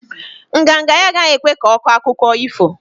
Nganga nga ya agaghi ekwe ko akụkọ ifo